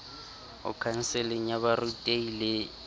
ho khanseling ya borutehi le